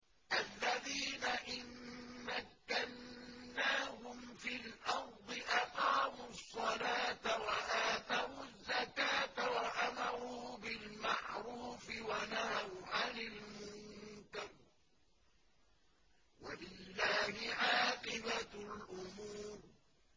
الَّذِينَ إِن مَّكَّنَّاهُمْ فِي الْأَرْضِ أَقَامُوا الصَّلَاةَ وَآتَوُا الزَّكَاةَ وَأَمَرُوا بِالْمَعْرُوفِ وَنَهَوْا عَنِ الْمُنكَرِ ۗ وَلِلَّهِ عَاقِبَةُ الْأُمُورِ